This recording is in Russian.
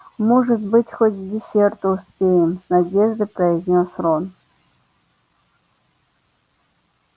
может быть хоть к десерту успеем с надеждой произнёс рон